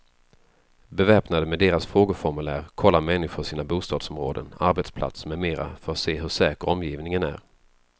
Beväpnade med deras frågeformulär kollar människor sina bostadsområden, arbetsplatser med mera för att se hur säker omgivningen är.